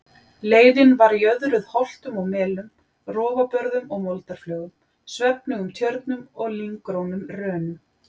Leiðin var jöðruð holtum og melum, rofabörðum og moldarflögum, svefnugum tjörnum og lynggrónum rönum.